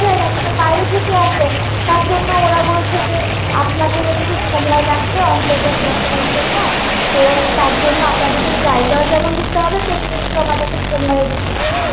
পাওয়া যায়না সেতো বাইরে থেকে আসে তার জন্য ওরা বলেছে যে আপনাদের একটু সময় লাগবে অন্তর্জাল বসানোর জন্য তো তার জন্য আপনাদের যেমন জায়গায়ও দিতে হবে, তেমনি আমাদের একটু সময় ও দিতে হবে।